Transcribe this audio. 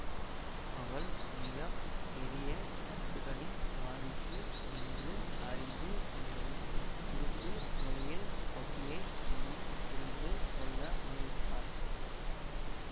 அவள் மிக பெரிய சொத்துக்களின் வாரிசு என்று அறிந்து கொண்டதும் குறுக்கு வழியில் பப்பியை மணம் புரிந்து கொள்ள முயலுகிறார்